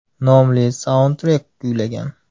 nomli saundtrek kuylagan.